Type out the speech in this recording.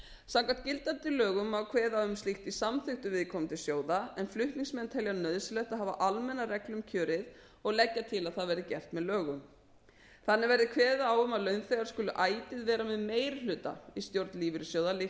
samkvæmt gildandi lögum má kveða á um slíkt í samþykktum viðkomandi sjóða en flutningsmenn telja nauðsynlegt að hafa almenna reglu um kjörið og leggja til að það verði gert með lögum þannig verði kveðið á um að launþegar skuli ætíð vera með meiri hluta í stjórn lífeyrissjóða líkt